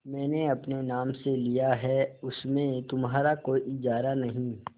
मैंने अपने नाम से लिया है उसमें तुम्हारा कोई इजारा नहीं